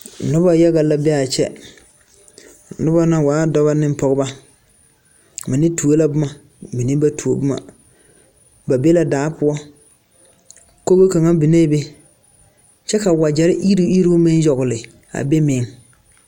Noba yaga la be a kyɛ noba na waa dɔba ne pɔgeba mine tuo la boma mine ba tuo boma ba be la daa poɔ kogo kaŋa biŋɛɛ be kyɛ ka wagyɛre eruŋ eruŋ meŋ yagle a be meŋ.